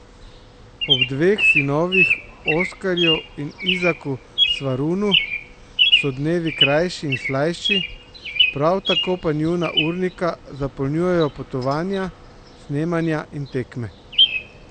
Ob dveh sinovih, Oskarju in Izaku Svarunu, so dnevi krajši in slajši, prav tako pa njuna urnika zapolnjujejo potovanja, snemanja in tekme.